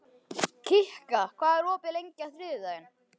Kikka, hvað er opið lengi á þriðjudaginn?